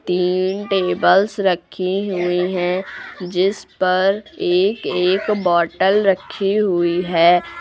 तीन टेबल्स रखी हुई हैं जिस पर एक एक बॉटल रखी हुई है।